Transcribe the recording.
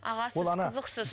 аға сіз қызықсыз